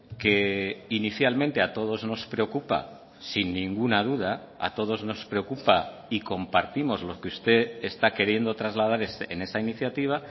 que inicialmente a todos nos preocupa sin ninguna duda a todos nos preocupa y compartimos lo que usted está queriendo trasladar en esa iniciativa